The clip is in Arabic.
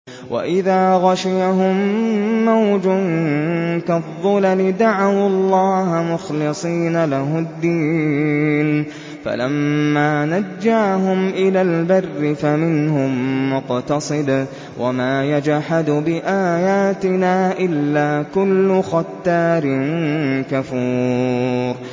وَإِذَا غَشِيَهُم مَّوْجٌ كَالظُّلَلِ دَعَوُا اللَّهَ مُخْلِصِينَ لَهُ الدِّينَ فَلَمَّا نَجَّاهُمْ إِلَى الْبَرِّ فَمِنْهُم مُّقْتَصِدٌ ۚ وَمَا يَجْحَدُ بِآيَاتِنَا إِلَّا كُلُّ خَتَّارٍ كَفُورٍ